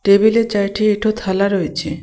টেবিলে চারঠি এঠো থালা রয়েছে.